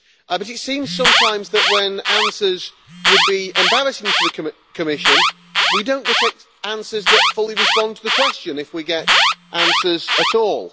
But it seems sometimes that when answers would be embarrassing to the Commission we do not get answers that fully respond to the question, if we get answers at all.